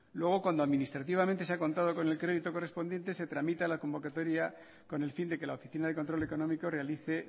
luego cuando administrativamente se ha contado con el crédito correspondiente se tramita la convocatoria con el fin de que la oficina de control económico realice